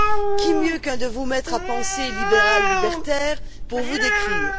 Qui mieux qu'un de vos maîtres à penser libéral libertaire pour vous décrire?